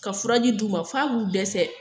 Ka furaji d'u ma f'a b'u dɛsɛ